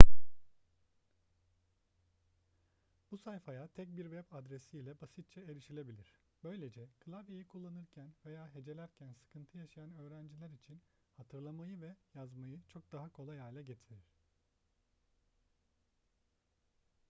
bu sayfaya tek bir web adresi ile basitçe erişilebilir böylece klavyeyi kullanırken veya hecelerken sıkıntı yaşayan öğrenciler için hatırlamayı ve yazmayı çok daha kolay hale getirir